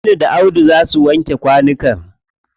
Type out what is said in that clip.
Aminu da Audu za su wanke kwanukan.